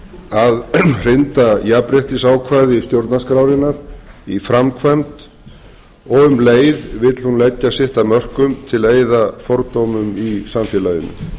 að hrinda jafnréttisákvæði stjórnarskrárinnar í framkvæma og um leið vill hún leggja sitt af mörkum til að eyða fordómum í samfélaginu